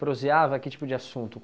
Proseava que tipo de assunto?